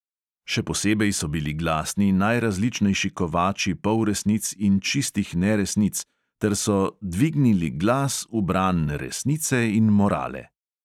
Še posebej so bili glasni najrazličnejši kovači polresnic in čistih neresnic ter so – dvignili glas v bran resnice in morale.